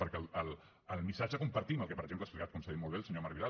perquè el missatge el compartim el que per exemple ha explicat com s’ha dit molt bé el senyor marc vidal